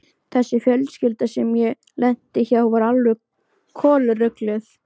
Þessi fjölskylda sem ég lenti hjá var alveg kolrugluð.